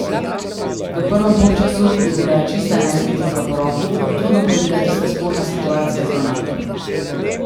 V prvem polčasu je bila čista enajstmetrovka po roki, v drugem pa je bila tista sporna situacija z Ronaldom.